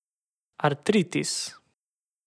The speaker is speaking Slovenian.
Artritis.